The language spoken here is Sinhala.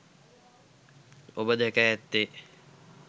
ඔබ දැක ඇත්තේ